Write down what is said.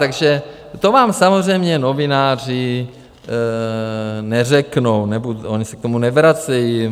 Takže to vám samozřejmě novináři neřeknou nebo oni se k tomu nevracejí.